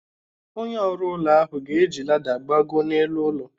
Onye ọrụụlọ ahụ ga-eji lada gbagoo n'elu ụlọ